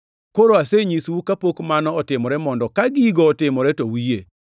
Koro asenyisou kapok mano otimore, mondo ka gigo otimore to uyie.